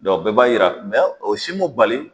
Dɔn o bɛɛ b'a yira o si m'o bali.